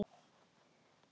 Það er mikið býli.